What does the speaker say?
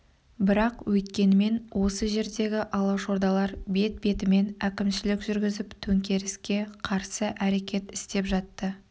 бірақ өйткенімен осы жердегі алашордалар бет-бетімен әкімшілік жүргізіп төңкеріске қарсы әрекет істеп жатты